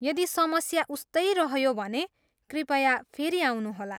यदि समस्या उस्तै रह्यो भने कृपया फेरि आउनुहोला।